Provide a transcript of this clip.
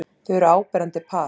Þau eru áberandi par.